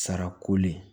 Sara koli ye